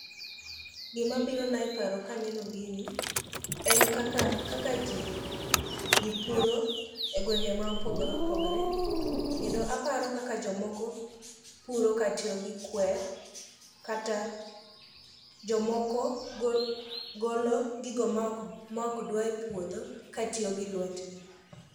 Gimabirona e paro kaneno gini, en kaka kaka ji puro e gwenge ma opogore opogre kendo aparo kaka jomoko puro katiyo gi kwer kata jomoko golo gigo ma ok dwa e puodho katiyo gi lwetgi.